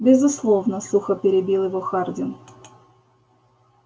безусловно сухо перебил его хардин